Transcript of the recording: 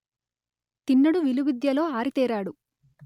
తిన్నడు విలువిద్యలో ఆరితేరాడు